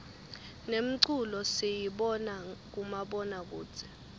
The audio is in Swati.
nemculo siyibona kumabona kudze